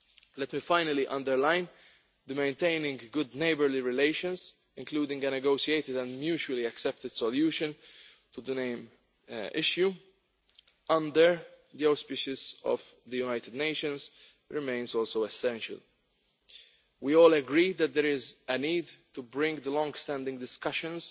Let me finally underline that maintaining of good neighbourly relations, including a negotiated and mutually accepted solution to the name issue, under the auspices of the United Nations remains essential. We all agree that there is a need to bring the longstanding discussions